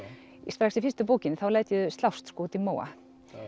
strax í fyrstu bókinni þá læt ég þau slást úti í móa